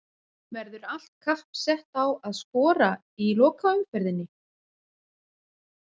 Verður allt kapp sett á að skora í lokaumferðinni?